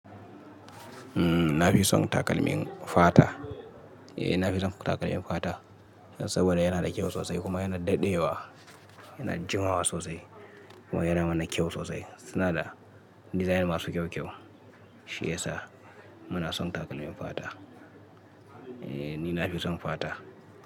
Umm, na fi son takalmin fata. Eh, na fi son takalmin fata saboda yana da kyau sosai kuma yana daɗewa, yana jimawa sosai kuma yana mana kyau sosai. Suna da design masu kyau kyau. Shi ya sa muna son takalmin fata. Eh, ni na fi son fata.